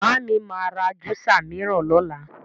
Màámi ma ra júsà míràn lọ́la.